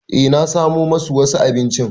E na samo masu wasu abinci.